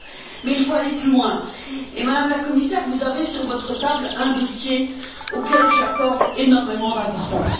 Mais il faut aller plus loin et, Madame la Commissaire, vous avez sur votre table un dossier auquel j'accorde énormément d'importance.